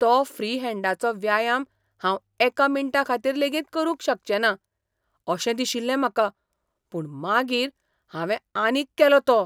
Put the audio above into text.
तो फ्री हॅंडाचो व्यायाम हांव एका मिनटाखातीर लेगीत करूंक शकचो ना, अशें दिशिल्लें म्हाका, पूण मागीर हांवें आनीक केलो तो.